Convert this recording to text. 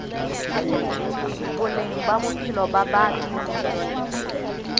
boleng ba bophelo ba batho